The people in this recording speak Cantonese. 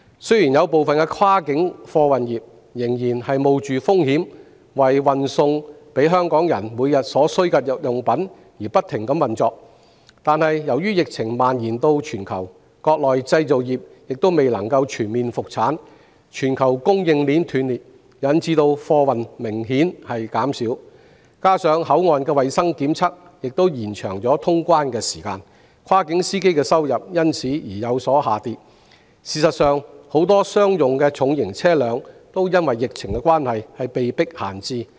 雖然部分跨境貨車司機在疫情期間，仍然冒着風險為香港人運送每天所需的日用品，但由於疫情蔓延全球，而國內製造業又未能全面復產，以致全球供應鏈斷裂，貨運明顯減少，再加上口岸的衞生檢測延長了通關時間，跨境貨車司機的收入因而減少。事實上，很多商用的重型車輛也因疫情而被迫閒置。